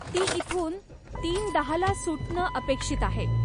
ती इथून तीन दहा ला सुटणं अपेक्षित आहे.